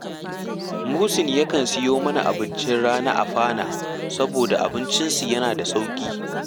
Muhsin yakan siyo mana abincin rana a Fana saboda abincinsu yana da sauƙi